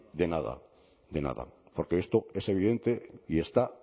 de nada de nada porque esto es evidente y está